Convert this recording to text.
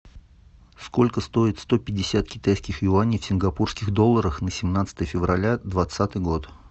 сколько стоит сто пятьдесят китайских юаней в сингапурских долларах на семнадцатое февраля двадцатый год